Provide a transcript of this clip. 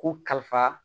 Ko kalifa